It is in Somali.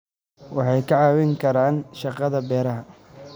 Waxay ka caawin karaan shaqada beeraha.